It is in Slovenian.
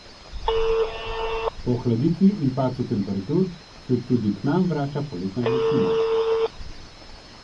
Po ohladitvi in padcu temperatur se tudi k nam vrača poletna vročina.